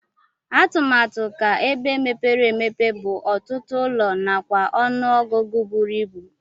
Atụmatu ka ebe mepere emepe bu ọtụtụ ụlọ nakwa ọnụ ọgụgụ buru ibụ.